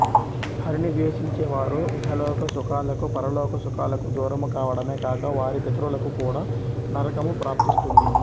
హరిని ద్వేషించే వారు ఇహలోక సుఖాలకు పరలోక సుఖాలకు దూరము కావడమే కాక వారి పితరులకు కూడా నరకము ప్రాప్తిస్తుంది